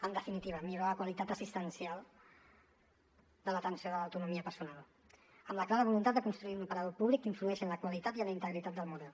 en definitiva millorar la qualitat assistencial de l’atenció de l’autonomia personal amb la clara voluntat de construir un operador públic que influeixi en la qualitat i en la integritat del model